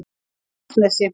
Laxnesi